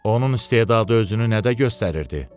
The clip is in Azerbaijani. Onun istedadı özünü nədə göstərirdi?